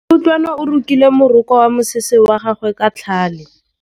Kutlwanô o rokile morokô wa mosese wa gagwe ka tlhale.